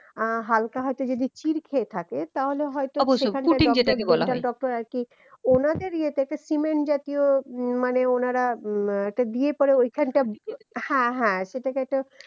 আহ হালকা হয়তো যদি চির খেয়ে থাকে তাহলে হয়তো medical doctor আরকি ওনাদের ইয়েতে একটা সিমেন্ট জাতীয় উম মানে ওনারা উম একটা দিয়ে পরে ঐখানটা হা হ্যা